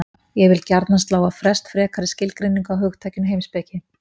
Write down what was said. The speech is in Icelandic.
Ég vildi gjarnan slá á frest frekari skilgreiningu á hugtakinu heimspeki.